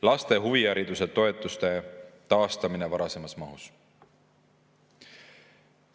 Laste huvihariduse toetuste taastamine varasemas mahus.